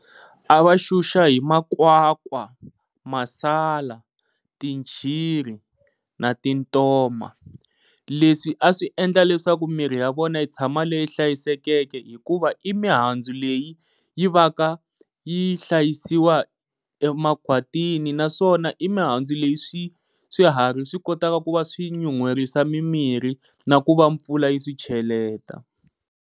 A va xuxa hi makwakwa, masala, tintshiri na tintoma leswi a swi endla leswaku mirhi ya vona yi tshama hi ri leyi hlayisekeke hikuva i mihandzu leyi yi va ka yi hlayisiwa ya makhwatini naswona i mihandzu leyi swi swiharhi swi kotaka ku va swi nyuherisa mi mirhi na ku va mpfula yi swi cheleta.